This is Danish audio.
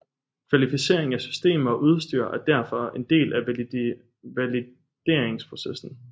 Kvalificering af systemer og udstyr er derfor en del af valideringsprocessen